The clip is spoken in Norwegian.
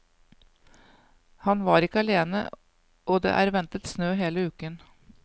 Han var ikke alene og det er ventet snø hele uken.